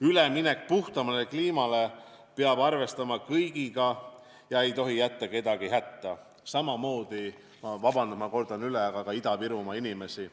Üleminek puhtamale kliimale peab arvestama kõigiga ega tohi jätta kedagi hätta, samamoodi, ma kordan üle, ka Ida-Virumaa inimesi.